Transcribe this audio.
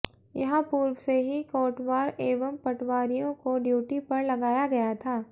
यहां पूर्व से ही कोटवार एवं पटवारियों को डयूटी पर लगाया गया था